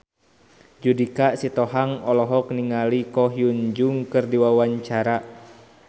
Judika Sitohang olohok ningali Ko Hyun Jung keur diwawancara